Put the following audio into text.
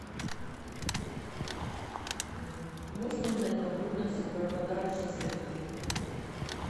можно узнать подробности про подарочные сертификаты в отеле